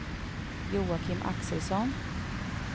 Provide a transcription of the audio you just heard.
Joakim Axelsson